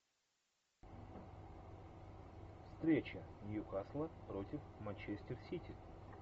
встреча ньюкасла против манчестер сити